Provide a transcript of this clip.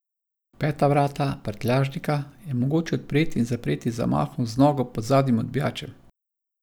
Peta vrata, prtljažnika, je mogoče odpreti in zapreti z zamahom z nogo pod zadnjim odbijačem.